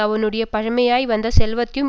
அவனுடைய பழைமையாய் வந்த செல்வத்தையும்